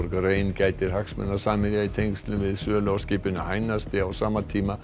rein gætir hagsmuna Samherja í tengslum við sölu á skipinu á sama tíma